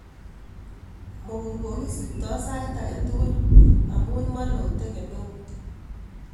Mukunkok kisipto sait agetugul amun molote kemeut.